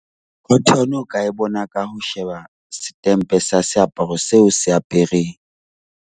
Cotton o ka e bona ka ho sheba setempe sa seaparo seo o se apereng.